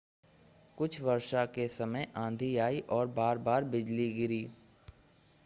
कुछ वर्षा के समय आंधी आई और बार-बार बिजली गिरी